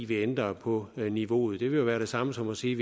vi ændrer på niveauet det vil jo være det samme som at sige